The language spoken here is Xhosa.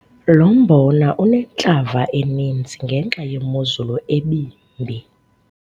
Lo mbona unentlava eninzi ngenxa yemozulu ebimbi.